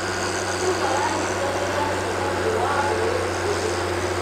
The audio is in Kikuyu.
Andũ maranyitanĩra mũcemanio wa mbeũ njĩthĩ.